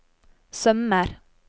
sømmer